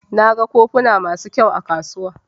Na gan kofuna masu ƙyau a kasuwa.